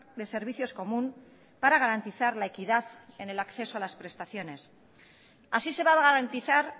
de servicios común para garantizar la equidad en el acceso a las prestaciones así se va a garantizar